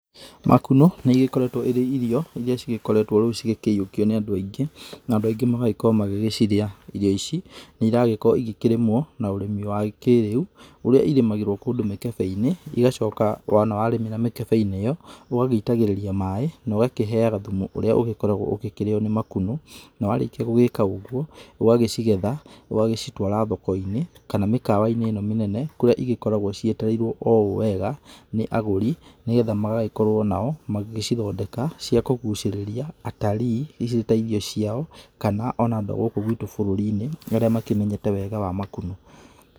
Makunũ nĩ ĩgĩkoretwo ĩrĩ irio irĩa cigĩkoretwo rĩu cigĩkĩyuokio nĩ andũ aingĩ, na andũ aingĩ magagĩkorwo magĩcirĩa. Irio ici nĩ ĩragĩkorwo igĩkĩrĩmwo na ũrĩmi wa kĩrĩu ũrĩa ĩrĩmagĩrwo kũndũ mĩkebe-inĩ, igacoka wona warĩmĩra mĩkebe-inĩ ĩyo, ũgagĩitagĩrĩria maĩ na ũgakĩheyaga thumu ũrĩa ũgĩkoragwo ũkĩrĩyo nĩ makunũ. Na warĩkia gũgĩka ũguo ũgagĩcigetha ũgagĩcitwara thoko-inĩ kana mĩkawa-inĩ ino mĩnene kũrĩa ĩgĩkoragwo cietereirwo ũũ wega nĩ agũri nĩgetha magagĩkorwo nao magĩgĩcithondeka cia kũgucĩrĩria atarĩĩ ĩtairĩo ciao kana ona andũ a gũkũ gwitũ bũrũri-inĩ arĩa makĩmenyete wega wa makunũ.